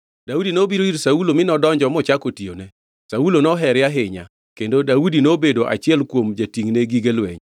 Daudi nobiro ir Saulo mi nodonjo mochako tiyone. Saulo nohere ahinya, kendo Daudi nobedo achiel kuom jatingʼne gige lweny.